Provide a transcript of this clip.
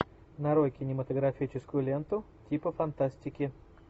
нарой кинематографическую ленту типа фантастики